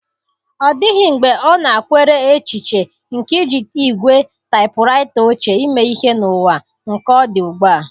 Ọ dịghị mgbe ọ nakweere echiche nke iji ígwè taịpụraịta ochie eme ihe n'ụwa nke ọ dị ugbu a.